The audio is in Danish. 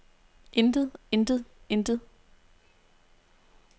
intet intet intet